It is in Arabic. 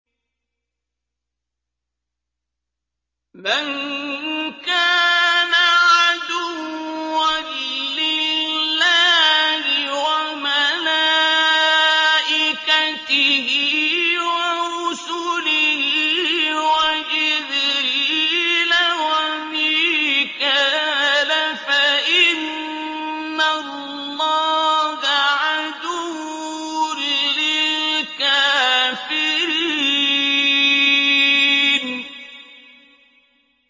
مَن كَانَ عَدُوًّا لِّلَّهِ وَمَلَائِكَتِهِ وَرُسُلِهِ وَجِبْرِيلَ وَمِيكَالَ فَإِنَّ اللَّهَ عَدُوٌّ لِّلْكَافِرِينَ